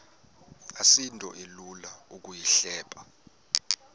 asinto ilula ukuyihleba